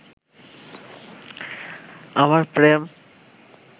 আমার প্রেম